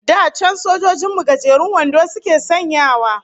Da can sojojin mu gajerun wando suke sanyawa